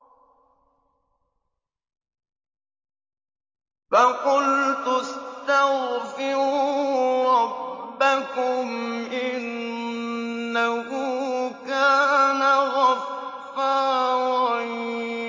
فَقُلْتُ اسْتَغْفِرُوا رَبَّكُمْ إِنَّهُ كَانَ غَفَّارًا